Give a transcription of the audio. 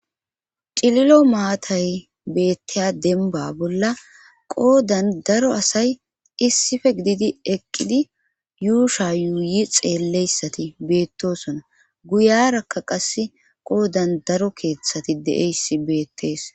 cililo maatay beetteya denba bolla qoodan daro asay issife gididi eqqidi yuusha yuuyi xeelleyssati beettosona guyarakka qas qoodan daro keeththati deeyssi beettees